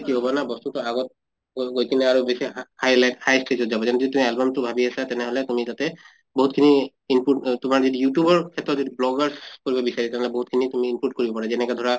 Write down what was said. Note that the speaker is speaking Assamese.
কি হʼব না বস্তুটো আগত গৈ কিনে আৰু বেছি হা highlight high stage ত যাব album টো ভাবি আছা তেনেহʼলে তুমি তাতে বহুত খিনি input অহ তোমাৰ youtube ৰ ক্ষেত্ৰত এইটো bloggers কৰিব বিচাৰিছা বহুত খিনি তুমি input কৰিব পাৰা যেনেকা ধৰা